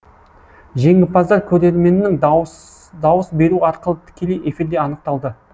жеңімпаздар көрерменнің дауыс беруі арқылы тікелей эфирде анықталды